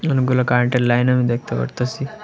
অনেকগুলা কারেন্টের লাইন আমি দেখতে পারতাসি।